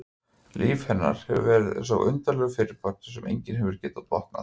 Líf hennar hefur verið eins og undarlegur fyrripartur sem enginn hefur getað botnað.